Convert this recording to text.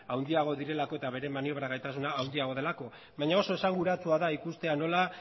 handiagoa direlako eta bere maniobra gaitasuna handiagoa delako baina oso esanguratsua da ikustea nola